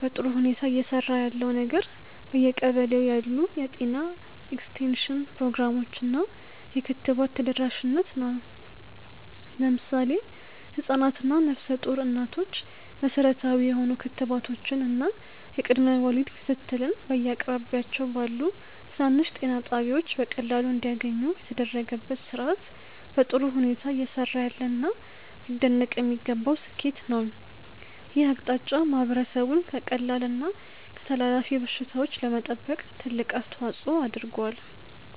በጥሩ ሁኔታ እየሰራ ያለው ነገር በየቀበሌው ያሉ የጤና ኤክስቴንሽን ፕሮግራሞች እና የክትባት ተደራሽነት ነው። ለምሳሌ ህፃናት እና ነፍሰ ጡር እናቶች መሠረታዊ የሆኑ ክትባቶችን እና የቅድመ ወሊድ ክትትልን በየአቅራቢያቸው ባሉ ትናንሽ ጤና ጣቢያዎች በቀላሉ እንዲያገኙ የተደረገበት ሥርዓት በጥሩ ሁኔታ እየሰራ ያለና ሊደነቅ የሚገባው ስኬት ነው። ይህ አቅጣጫ ማህበረሰቡን ከቀላል እና ከተላላፊ በሽታዎች ለመጠበቅ ትልቅ አስተዋፅዖ አድርጓል።